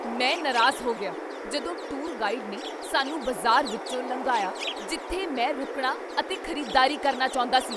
ਮੈਂ ਨਾਰਾਜ਼ ਹੋ ਗਿਆ ਜਦੋਂ ਟੂਰ ਗਾਈਡ ਨੇ ਸਾਨੂੰ ਬਾਜ਼ਾਰ ਵਿੱਚੋਂ ਲੰਘਾਇਆ ਜਿੱਥੇ ਮੈਂ ਰੁਕਣਾ ਅਤੇ ਖ਼ਰੀਦਦਾਰੀ ਕਰਨਾ ਚਾਹੁੰਦਾ ਸੀ।